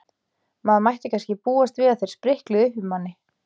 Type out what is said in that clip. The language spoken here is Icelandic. Maður mætti kannski búast við að þeir sprikluðu uppi í manni.